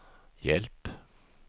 hjälp